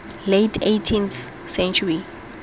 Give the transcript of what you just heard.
late eighteenth century